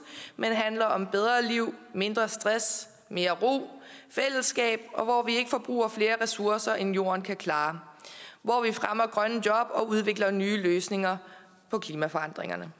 men handler om bedre liv mindre stress mere ro fællesskab og hvor vi ikke forbruger flere ressourcer end jorden kan klare hvor vi fremmer grønne job og udvikler nye løsninger på klimaforandringerne